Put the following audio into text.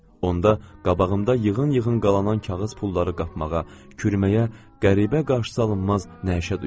Onda qabağımda yığın-yığın qalanan kağız pulları qapmağa, kürməyə qəribə qarşısıalınmaz nəşət duyurdum.